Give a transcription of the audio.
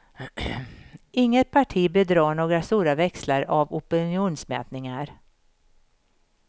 Inget parti bör dra några stora växlar av opinionsmätningar.